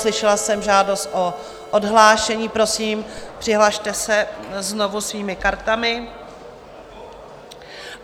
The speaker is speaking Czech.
Slyšela jsem žádost o odhlášení, prosím, přihlaste se znovu svými kartami.